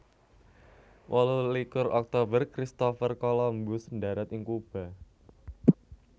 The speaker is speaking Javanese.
Wolu likur Oktober Christopher Columbus ndharat ing Kuba